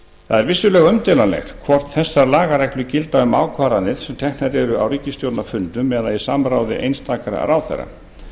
það er vissulega umdeilanlegt hvort þessar lagareglur gilda um ákvarðanir sem teknar eru á ríkisstjórnarfundum eða í samráði einstaka ráðherra